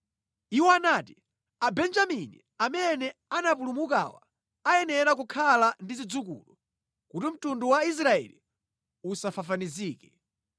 Iwo anati, “Abenjamini amene anapulumukawa ayenera kukhala ndi zidzukulu, kuti mtundu wa Israeli usafafanizike.